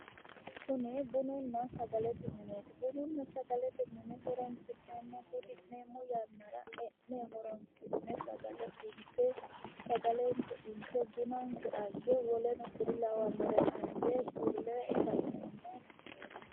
Kuni bununna sagalete mineeti bununna sagalete mine hudi'neemmo yannara e'ne horoonsi'ne sagalenke inte bunanke ange woleno kuri lawannore ange fulleemmo mineeti.